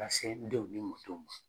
Ka se n denw ni n mɔdenw ma.